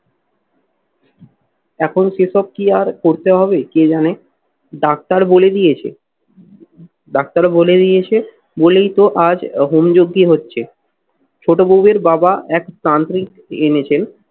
এখন সেসব কি আর করতে হবে কে জানে? ডাক্তার বলে দিয়েছে ডাক্তার বলে দিয়েছে বলেই তো আজ হোম যোগ্যি হচ্ছে। ছোট বউয়ের বাবা এক তান্ত্রিক এনেছেন।